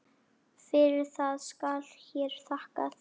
Fyrir það skal hér þakkað.